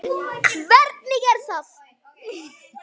Hvernig er það?